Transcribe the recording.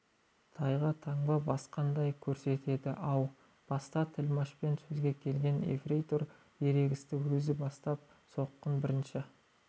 тайға таңба басқандай көрсетеді әу баста тілмашпен сөзге келген ефрейтор ерегісті өзі бастап соққыны бірінші